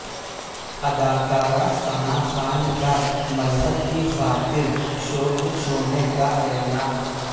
اداکارہ ثناءخان کا مذہب کی خاطر شوبز چھوڑنے کااعلان